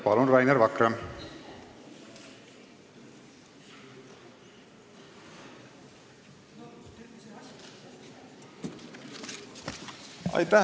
Palun, Rainer Vakra!